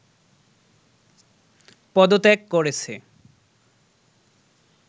পদত্যাগ করেছে